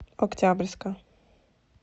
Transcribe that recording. октябрьска